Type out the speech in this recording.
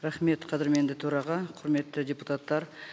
рахмет қадірменді төраға құрметті депутаттар